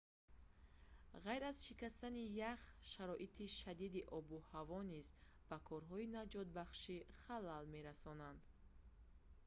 ғайр аз шикастани ях шароити шадиди обу ҳаво низ ба корҳои наҷотбахшӣ халал мерасонанд